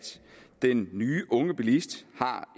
den nye unge bilist